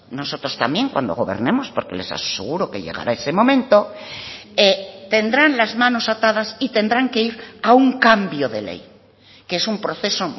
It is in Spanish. nosotros también cuando gobernemos porque les aseguro que llegará ese momento tendrán las manos atadas y tendrán que ir a un cambio de ley que es un proceso